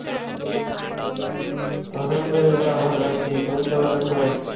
অহামিদুল্লা ভালো আছি, তুমি কেমন আছো?